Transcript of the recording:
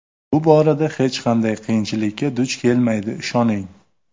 Bu borada hech qanday qiyinchilikka duch kelmaydi, ishoning.